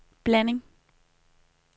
blanding